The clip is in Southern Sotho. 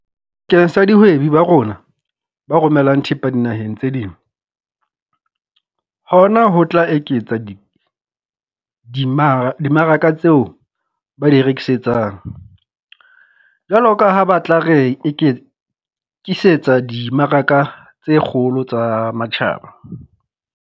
Keng sa dihwebi ba rona ba romelang thepa dinaheng tse ding, hona ho tla eketsa di dimmaraka tseo ba di rekisetsang, jwalo ka ha ba tla re-kisetsa dimmaraka tse kgolo tsa matjhaba.